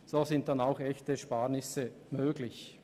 So sind dann auch echte Ersparnisse möglich.